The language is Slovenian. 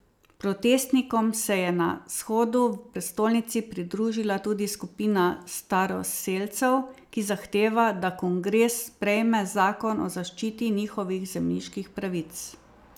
Protestnikom se je na shodu v prestolnici pridružila tudi skupina staroselcev, ki zahteva, da kongres sprejeme zakon o zaščiti njihovih zemljiških pravic.